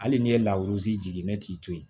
Hali n'i ye largi jigin ne t'i to yen